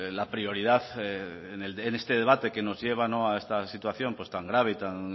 la prioridad en este debate que nos lleva a esta situación pues tan grave y tan